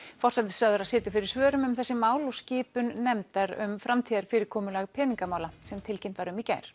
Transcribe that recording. forsætisráðherra situr fyrir svörum um þessi mál og skipan nefndar um framtíðarfyrirkomulag peningamála sem tilkynnt var um í gær